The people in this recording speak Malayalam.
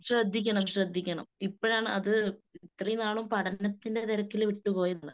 ശ്രദ്ധിക്കണം ശ്രദ്ധിക്കണം. ഇപ്പോഴാണ് അത്, ഇത്രയുംനാള് പഠനത്തിന്റെ തിരക്കിൽ വിട്ടുപോയതാ.